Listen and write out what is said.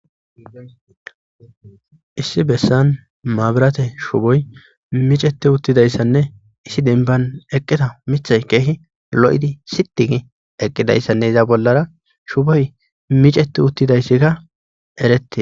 Issi bessan maaburate shuboy miceti uttidayssanne issi denban eqqita mithay keehi lo7idi sitigi eqqidayssanne iza bollara shuboy miceti uttidayssikka eretti.